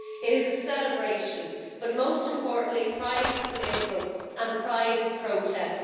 It is a celebration, but most importantly, Pride is political and Pride is protest.